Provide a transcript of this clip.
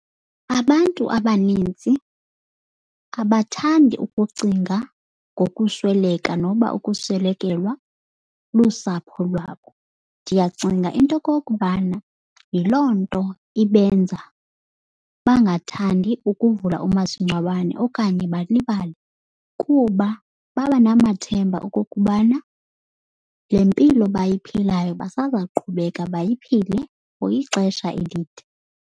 Abantu abanintsi abathandi ukucinga ngokusweleka noba ukuswelekelwa lusapho lwabo. Ndiyacinga into okokubana yiloo nto ibenza bangathandi ukuvula umasingcwabane okanye balibale. Kuba babanamathemba okokubana le mpilo bayiphilayo basazawuqhubeka bayiphile for ixesha elide.